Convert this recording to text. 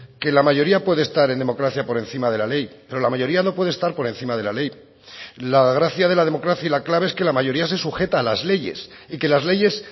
que la mayoría puede estar en democracia por encima de la ley pero la mayoría no puede estar por encima de la ley la gracia de la democracia y la clave es que la mayoría se sujeta a las leyes y que las leyes